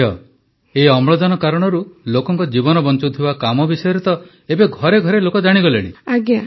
ହଁ ଝିଅ ଏହି ଅମ୍ଳଜାନ କାରଣରୁ ଲୋକଙ୍କ ଜୀବନ ବଞ୍ଚାଉଥିବା କାମ ବିଷୟରେ ତ ଏବେ ଘରେ ଘରେ ଲୋକେ ଜାଣିଗଲେଣି